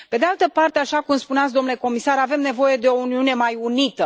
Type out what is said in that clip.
Pe de altă parte, așa cum spuneați, domnule comisar, avem nevoie de o Uniune mai unită.